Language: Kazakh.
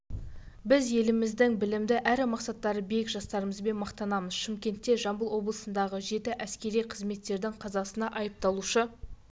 біз еліміздің білімді әрі мақсаттары биік жастарымызбен мақтанамыз шымкентте жамбыл облысындағы жеті әскери қызметкердің қазасына айыпталушы